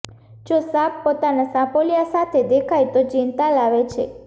જો સાપ પોતાના સાપોલિયા સાથે દેખાય તો ચિંતા લાવે છે